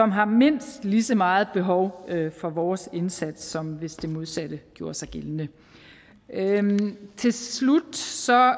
har mindst lige så meget behov for vores indsats som hvis det modsatte gjorde sig gældende til slut så